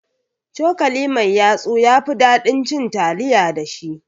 Cokali mai yatsu yafi ɗaɗin cin taliya da shi